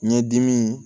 Ɲɛdimi